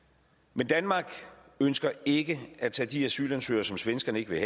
men danmark ønsker ikke at tage de asylansøgere som svenskerne ikke vil